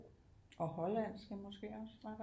Og Hollandske måske også